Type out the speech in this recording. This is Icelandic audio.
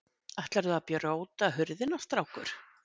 Ætlarðu að brjóta hurðina, strákur?